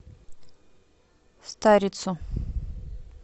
старицу